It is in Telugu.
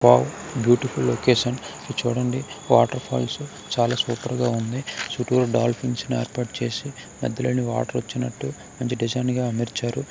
వావ్ బ్యూటిఫుల్ లొకేషన్ చుడండి వాటర్ ఫాల్స్ చాల సూపర్ గ వుంది చుట్టూరు డాల్ఫిన్స్ ని ఏర్పాటు చేసి మధ్యలోనుంచి వాటర్ వచినట్టు మంచి డిజైన్ గ అమర్చారు.